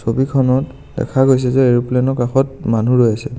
ছবিখনত দেখা গৈছে যে এৰোপ্লেন ৰ কাষত মানুহ ৰৈ আছে.